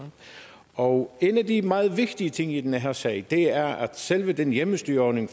og en af de meget vigtige ting i den her sag er at selve den hjemmestyreordning